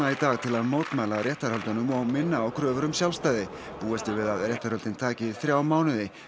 í dag til að mótmæla réttarhöldunum og minna á kröfur um sjálfstæði búist er við að réttarhöldin taki þrjá mánuði